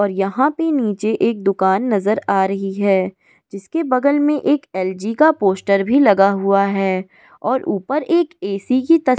और यहा पे निचे एक दुकान नजर आ रही है जिसके बगल में एक एल जी का पोस्टर भी लगा हुआ है और ऊपर एक ऐ सी की तस --